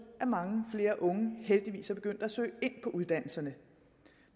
at mange flere unge heldigvis er begyndt at søge ind på uddannelserne